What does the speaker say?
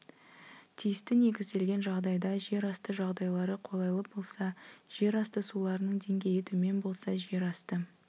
тиісті негізделген жағдайда жер асты жағдайлары қолайлы болса жер асты суларының деңгейі төмен болса жер асты